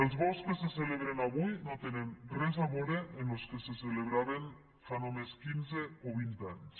els bous que se celebren avui no tenen res a vore amb los que se celebraven fa només quinze o vint anys